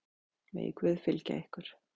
Megi Guð fylgja ykkur.